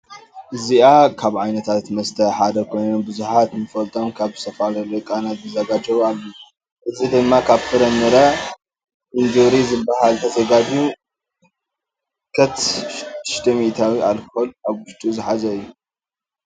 እዚ ካብ ዓይነታት መስት ሓደ ኮይን ቡዙሓት ንፈልጦም ካብ. ዝተፈላለዩ ቃና ዝዘጋጀዉ አለዉ ::እዚ.ድማ ካብ ፍር ምረ. ኢንጆሪ. ዝበሃል. ተዘጋጅዩ ንምልከት ሽድሽተ ሚኢታዊ አልኮል አብ ውሽጡ ዝሓዘ እዩ::